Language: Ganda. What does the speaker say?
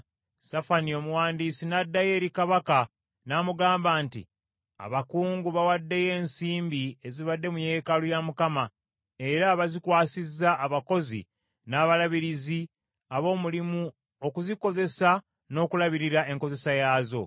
Safani omuwandiisi n’addayo eri kabaka n’amugamba nti, “Abakungu bawaddeyo ensimbi ezibadde mu yeekaalu ya Mukama era bazikwasizza abakozi n’abalabirizi ab’omulimu okuzikozesa n’okulabirira enkozesa yaazo.”